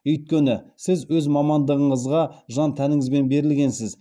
өйткені сіз өз мамандығыңызға жан тәніңізбен берілгенсіз